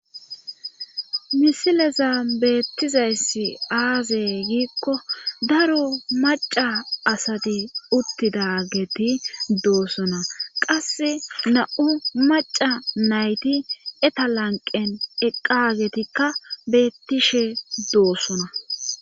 misileza beettizayssi aaze giikko daro maca asati uttidageti doosona qase na7u maca nayti etalanqen eqqagetikka bettishe doosona